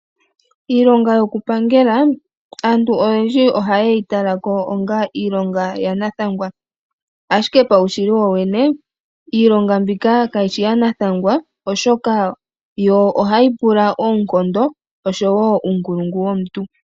Iilonga yokupangela aantu oyendji oha ye yi talako onga iilonga yanathangwa, ashike paushili wowene iilonga mbika kayishi ya nathangwa oshoka ohayi pula oonkondo osho wo uunkulungu womuntu.